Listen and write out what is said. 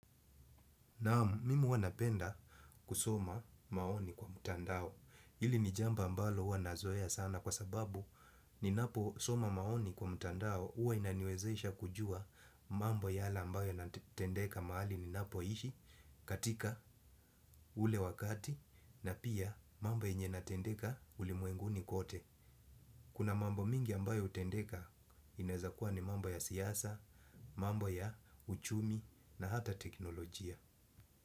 Naamu, mimi huwa napenda kusoma maoni kwa mutandao. Hili ni jambo ambalo huwa nazoea sana kwa sababu ninaposoma maoni kwa mutandao. Uwa inaniwezesha kujua mambo yale ambayo yanatendeka mahali ninapoishi katika ule wakati na pia mambo yenye inatendeka ulimwenguni kote. Kuna mambo mingi ambayo hutendeka inaeza kuwa ni mambo ya siasa, mambo ya uchumi na hata teknolojia.